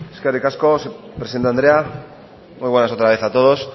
eskerrik asko presidente andrea muy buenas otra vez a todos